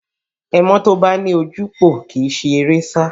Ẹmọ́ tó bá ní ojúpòó kì í si eré sá